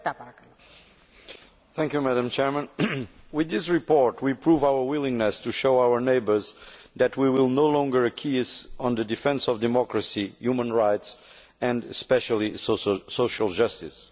Madam President, with this report we prove our willingness to show our neighbours that we will no longer acquiesce on the defence of democracy, human rights and especially social justice.